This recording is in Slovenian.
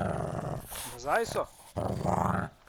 Nazaj so?